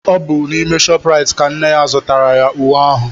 Ọ bụ n'ime ShopRite ka nne ya zụtaara ya uwe ahụ.